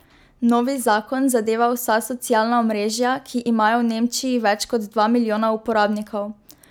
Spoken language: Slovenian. Novi zakon zadeva vsa socialna omrežja, ki imajo v Nemčiji več kot dva milijona uporabnikov.